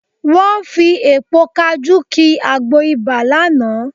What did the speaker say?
Wọ́n fi èpo kajú ki àgbo ibà lánàá